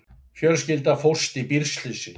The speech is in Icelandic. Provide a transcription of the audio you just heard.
Fjölskylda fórst í bílslysi